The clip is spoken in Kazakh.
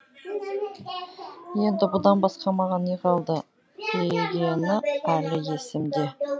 енді бұдан басқа маған не қалды дегені әлі есімде